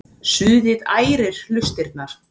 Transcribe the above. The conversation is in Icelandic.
Suðið ærir hlustirnar.